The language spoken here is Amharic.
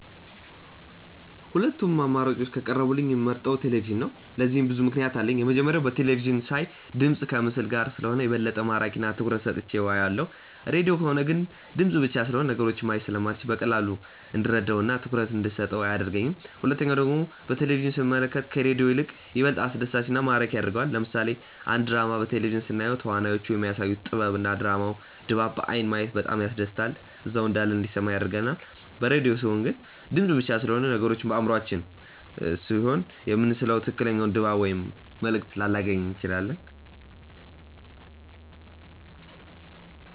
ሁለቱም አማራጮች ከቀረቡልኝ የምመርጠው ቴሌቪዥንን ነው። ለዚህም ብዙ ምክንያት አለኝ። የመጀመሪያው በቴለቪዥን ሳይ ድምፅ ከምስል ጋር ስለሆነ የበለጠ ማራኪ እና ትኩረት ሰጥቼው አየዋለሁ። ሬድዮ ከሆነ ግን ድምፅ ብቻ ስለሆነ ነገሮችን ማየት ስለማልችል በቀላሉ እንድረዳው እና ትኩረት እንደሰጠው አያደርገኝም። ሁለተኛው ደግሞ በቴሌቪዥን ስንመለከት ከሬዲዮ ይልቅ ይበልጥ አስደሳች እና ማራኪ ያደርገዋል። ለምሳሌ አንድ ድራማ በቴሌቪዥን ስናየው ተዋናዮቹ የሚያሳዩት ጥበብ እና የድራማውን ድባብ በአይን ማየት በጣም ያስደስታል እዛው እንዳለን እንዲሰማን ያደርጋል። በሬድዮ ሲሆን ግን ድምፅ ብቻ ስለሆነ ነገሮችን በአእምሯችን ስሴሆነ የምንስለው ትክክለኛውን ድባብ ወይም መልእክት ላላገኝ እችላለሁ።